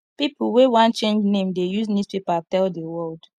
pipo wey wan change name dey use newspaper tell di world